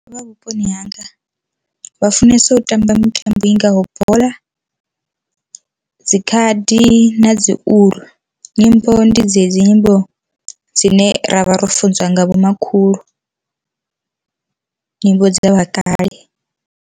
Vhuponi hanga vha funesa u tamba mitambo ingaho bola, dzikhadi na dzi uḽu, nyimbo ndi dzedzi nyimbo dzine ra vha ro funziwa nga vhomakhulu nyimbo dza vha kale.